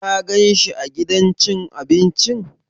Ka gan shi a gidan cin abincin?